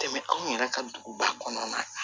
Tɛmɛ anw yɛrɛ ka duguba kɔnɔna na